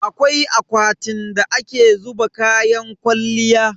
Akwai akwatin da ake zuba kayan kwalliya.